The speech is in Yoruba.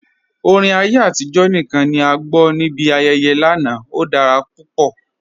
Orin ayé atijọ̀ níkan ni a gbọ́ ni ibi ayẹyẹ́ lánà, ó dára pupọ̀.